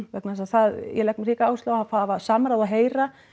vegna þess að það ég legg ríka áherslu á að hafa samráð og heyra